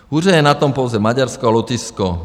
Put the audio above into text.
Hůře je na tom pouze Maďarsko a Lotyšsko.